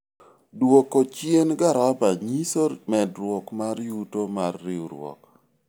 dwoko chien garama nyiso medruok mar yuto mar riwruok